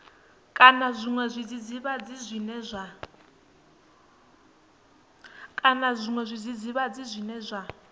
kana zwiṅwe zwidzidzivhadzi zwine zwa